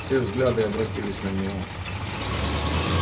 все взгляды обратились на него